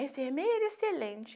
Enfermeira excelente.